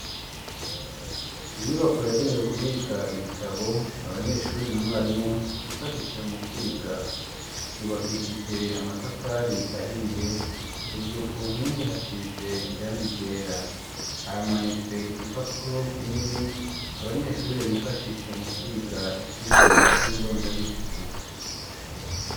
inyubako yagenewe kubika ibitabo abanyeshuri na mwarimu bifashisha mu kwiga yubakishije amatafari ahiye hejuru ku npingi hasize irangi ryera haramanitse igipapuro kinini abanyeshuri bifashisha mu kwiga icigwa c'indonda bihugu.